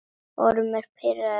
Ormur pírði augun.